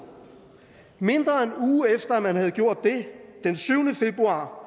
mindre end en uge efter at man havde gjort det den syvende februar